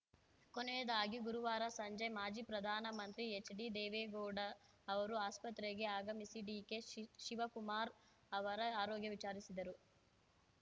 ಕೊನೆಯದಾಗಿ ಗುರುವಾರ ಸಂಜೆ ಮಾಜಿ ಪ್ರಧಾನಮಂತ್ರಿ ಎಚ್‌ಡಿ ದೇವೇಗೌಡ ಅವರು ಆಸ್ಪತ್ರೆಗೆ ಆಗಮಿಸಿ ಡಿಕೆ ಶಿ ಶಿವಕುಮಾರ್‌ ಅವರ ಆರೋಗ್ಯ ವಿಚಾರಿಸಿದರು